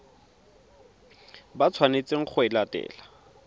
ba tshwanetseng go e latela